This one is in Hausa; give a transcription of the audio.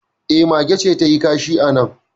E, mage ce ta yi kashi a nan